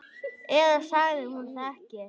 Eða sagði hún það ekki?